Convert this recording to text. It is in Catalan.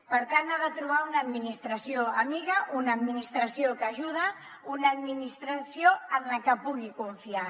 per tant ha de trobar una administració amiga una administració que ajuda una administració en la que pugui confiar